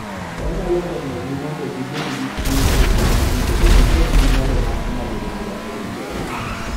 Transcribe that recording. Onyalo konyogi mondo gibed gi chir e chunygi kendo gibed gi nyalo mar ng�ado bura e wi pek.